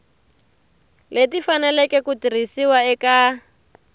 leti faneleke ku tirhisiwa eka